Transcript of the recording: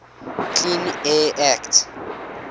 clean air act